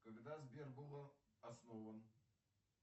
когда сбер был основан